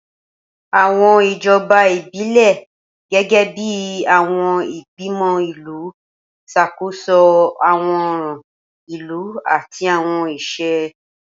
Awọn ijọba ibilẹ, gẹgẹbi awọn igbimọ ilu, ṣakoso awọn ọran ilu ati awọn iṣẹ.